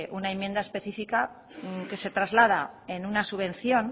una enmienda específica que se traslada en una subvención